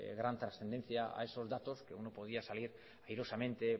gran trascendencia a esos datos que uno podía salir airosamente